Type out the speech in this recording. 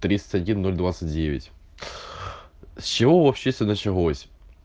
тридцать один ноль двадцать девять с чего вообще все началось